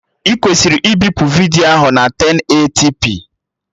Ị kwesịrị ibipu vidiyo ahụ na 1080p